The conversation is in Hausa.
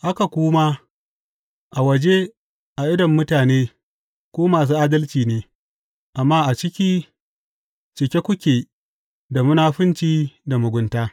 Haka ku ma, a waje, a idon mutane, ku masu adalci ne, amma a ciki, cike kuke da munafunci da mugunta.